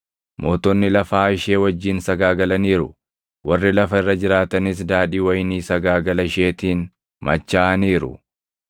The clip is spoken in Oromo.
Mootonni lafaa ishee wajjin sagaagalaniiru; warri lafa irra jiraatanis daadhii wayinii sagaagala isheetiin machaaʼaniiru.”